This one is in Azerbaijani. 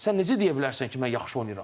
Sən necə deyə bilərsən ki, mən yaxşı oynayıram?